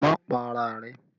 Má pa ara rẹ̀!